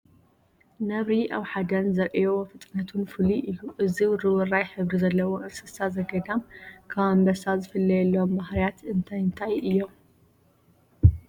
ነብሪ ኣብ ሓደን ዘርእዮ ፍጥነቱ ፍሉይ እዩ፡፡ እዚ ውርውራይ ሕብሪ ዘለዎ እንስሳ ዘገዳም ካብ ኣንበሳ ዝፍለየሎም ባህርያት እንታይ እንታይ እዮም?